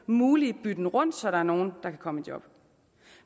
mulige bytten rundt ordninger så der er nogle der kan komme i job